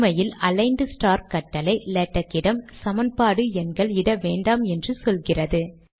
உண்மையில் aligned star கட்டளை லேடக்கிடம் சமன்பாடு எண்கள் இட வேண்டாம் என்று சொல்லுகிறது